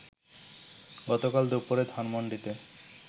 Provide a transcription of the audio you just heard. গতকাল দুপুরে ধানমন্ডিতে